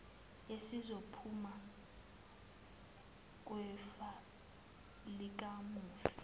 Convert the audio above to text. esizophuma kwifa likamufa